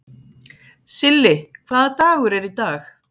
Silli, hvaða dagur er í dag?